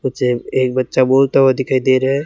उजे एक बच्चा बोलता हुआ दिखाई दे रहा--